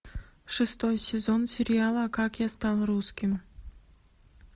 шестой сезон сериала как я стал русским